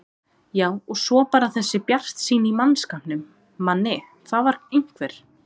Já og svo bara þessi bjartsýni í mannskapnum, Manni, það var einhver